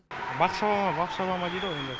бақ шаба ма бақ шаба ма дейді ғой енді